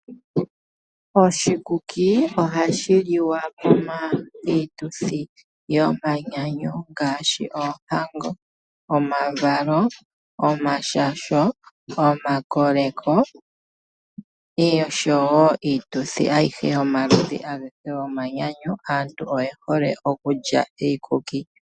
Oshikuki ohashi liwa miituthi yo manyanyu ngaashi oohango, omavalo, omashasho, omakoleko osho wo iituthi ayihe yomaludhi agehe yomanyanyu, aantu oye hole okulya oshikuki.